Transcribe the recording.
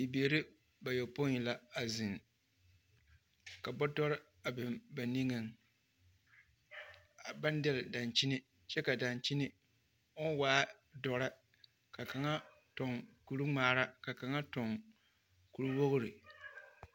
Bibiiri bayopoi la a zeŋ, ka bɔtɔre a biŋ ba niŋeŋ, baŋ dɛle dankyini kyɛ ka dankyini o waa dɔre ka kaŋa toŋ kuri ŋmaara ka kaŋa toŋ kuri wogiri. 13370